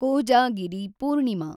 Kojagiri Purnima